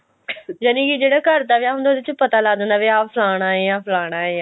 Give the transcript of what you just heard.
ਯਾਨਿਕੀ ਜਿਹੜਾ ਘਰ ਦਾ ਵਿਆਹ ਹੁੰਦਾ ਉਹਦੇ ਚ ਪਤਾ ਲੱਗ ਜਾਂਦਾ ਫਲਾਣਾ ਏ ਫਲਾਣਾ ਏ